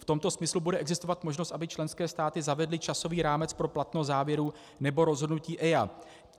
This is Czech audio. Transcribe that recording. V tomto smyslu bude existovat možnost, aby členské státy zavedly časový rámec pro platnost závěrů nebo rozhodnutí EIA.